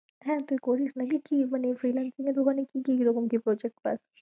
হ্যাঁ তুই করিস নাকি কি মানে freelancing এর ওখানে কি কিরকম কি project পাশ?